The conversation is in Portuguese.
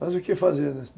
Mas o que fazer, né?